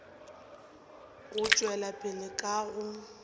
go tšwela pele ka go